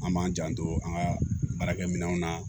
An b'an janto an ka baarakɛ minɛnw na